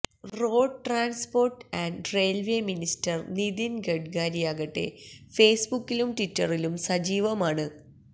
road transport and railway minister Nitin ഗഡ്കരിയാകട്ടെ ഫേസ്ബുക്കിലും ട്വിറ്ററിലും സജീവമാണ്